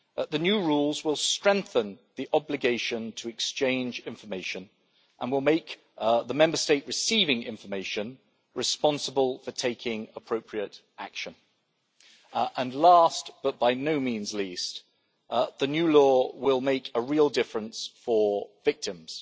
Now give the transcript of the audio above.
The new rules will strengthen the obligation to exchange information and will make the Member State receiving information responsible for taking appropriate action. Last, but by no means least, the new law will make a real difference for victims.